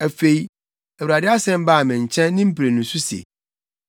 Afei, Awurade asɛm baa me nkyɛn ne mprenu so se,